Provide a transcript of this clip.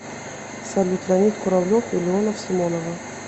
салют леонид куравлев и леонов симонова